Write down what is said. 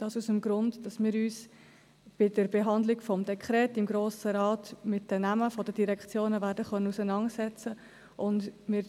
Dies aus dem Grund, dass wir uns bei der Behandlung des Dekrets im Grossen Rat mit den Namen der Direktionen auseinandersetzen werden können.